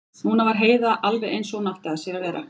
Núna var Heiða alveg eins og hún átti að sér að vera.